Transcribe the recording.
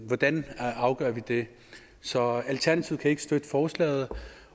hvordan afgør vi det så alternativet kan ikke støtte forslaget